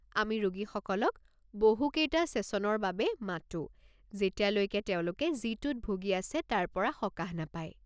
আমি ৰোগীসকলক বহুকেইটা ছেছনৰ বাবে মাতো যেতিয়ালৈকে তেওঁলোকে যিটোত ভুগি আছে তাৰ পৰা সকাহ নাপায়।